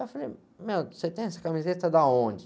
Eu falei, meu, você tem essa camiseta de onde?